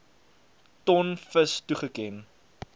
ton vis toegeken